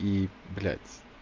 и блядь